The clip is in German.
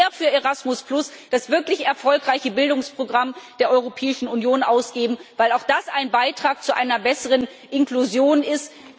Wir müssen mehr für Erasmus, das wirklich erfolgreiche Bildungsprogramm der Europäischen Union, ausgeben, weil auch das ein Beitrag zu einer besseren Inklusion ist.